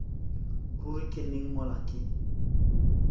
ruri ke neng mola ke